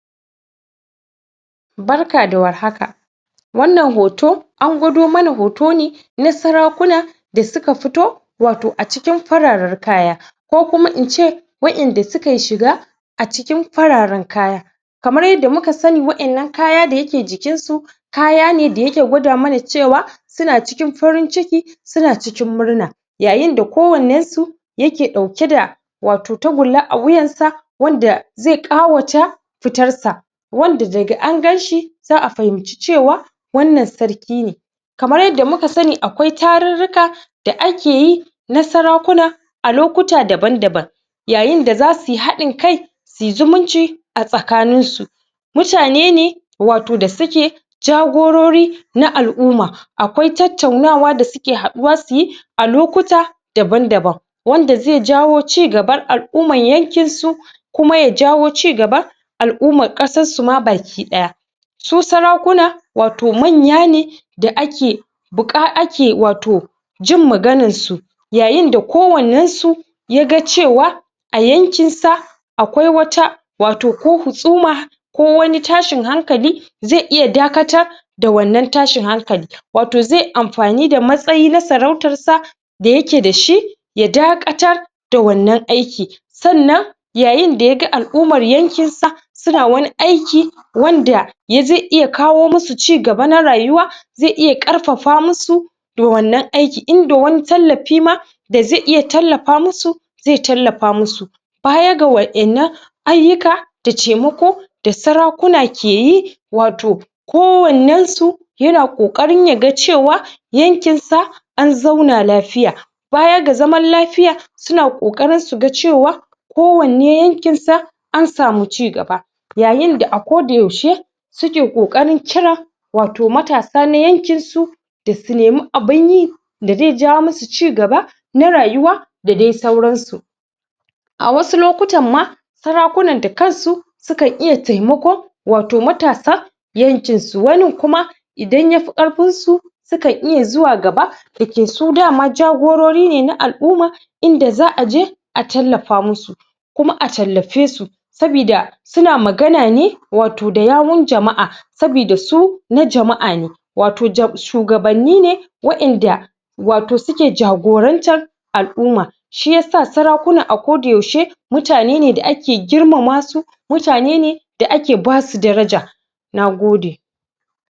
Barka da warhaka. a wannan hoto an gwado mana hoto ne na sarakuna wato a cikin fararen kaya. Ko kuma ince waɗanda su kayi shiga a cikin fararen kaya Kamar yanda muka sani waɗannan kaya da yake jikin su kaya ne da yake gwada mana cewa suna cikin farin ciki suna cikin murna, yayinda kowannen su yake dauke da wato tagulla a wuyan sa wanda zai ƙawata fitar sa. wanda daga an ganshi za a fahimci cewa wannan sarki ne kamar yanda muka akwai tarurruka da akeyi na sarakuna a lokuta daban-daban yayinda za suyi haɗin kai suyi zumunci a tsakanin su Mutane ne wato da suke jagorori na al'umma. Akwai tattaunawa da suke haɗuwa su yi a lokuta daban-daban. Wanda zai jawo cigaban al'umman yankin su kuma ya jawo cigaba al'umman kasar su ma baki ɗaya. Su sarakuna wato manya ne da ake buka ake wato jin maganan su yayinda kowannen su ya ga cewa a yankin sa akwai wata wato ko husama ko wani tashin hankali zai iya dakata da wanan tashin hankalin. Wato zaiyi amfani da wannan matsayi na sarautan sa da yake da shi ya dakatar da wannan aikin Sannan yayinda yaga al'umman yankin sa suna wani aiki wanda zai iya kawo musu cigaba na rayuwa zai iya ƙarfafa musu da wannan aikin. In da wani tallafi ma da zai iya tallafa musu zai tallafa musu. baya ga wadannan ayyuka, da taimako, da sarakuna ke yi wato kowannen su yana ƙokarin ya ga cewa yankin sa an zauna lafiya. Baya ga zaman lafiya suna ƙoƙarin su ga cewa ko wanne yankin sa an samu cigaba yayinda a ko da yaushe su ke kokarin kira wato matasa na yankin su da su nemi abin yi da zai jawo musu cigaba na rayuwa da dai sauran su. A wasu lokutan ma sarakunan da kansu su kan iya taimako wato matasa yankin su. Wanin kuma idan yafi ƙarfin su su kan iya zuwa gaba, da yake su dama jagorori ne na al'umma inda za a je a tallafa musu kuma a tallafe su saboda suna magana ne wato da yawun jama'a saboda su na jama'a ne. wato shugabanni ne waɗanda wato su ke jagorantan al'umma Shiyasa sarakuna a ko da yaushe mutane ne da ake girmama su mutane ne da ake ba su daraja. Na gode.